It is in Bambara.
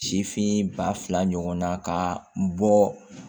Sifin ba fila ɲɔgɔnna ka bɔ